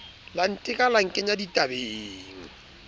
la nteka la nkenya ditabeng